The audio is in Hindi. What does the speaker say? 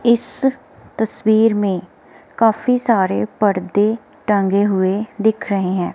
इस तस्वीर में काफी सारे पड़दे टंगे हुए दिख रहे हैं।